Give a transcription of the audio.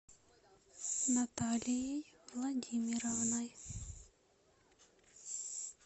наталией владимировной